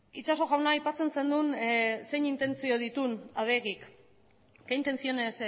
itxaso jauna aipatzen zenuen zein intentzio dituen adegik que intenciones